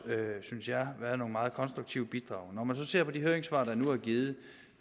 synes jeg været nogle meget konstruktive bidrag når man ser på de høringssvar der nu er givet